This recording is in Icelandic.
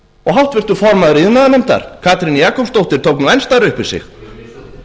háttvirtur formaður iðnaðarnefndar katrín júlíusdóttir tók enn stærra upp í sig